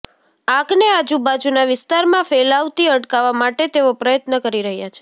આગને આજુબાજુના વિસ્તારમાં ફેલાવતી અટકાવા માટે તેઓ પ્રયત્ન કરી રહ્યા છે